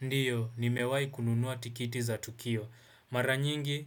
Ndio, nimewahi kununua tikiti za Tukio. Mara nyingi,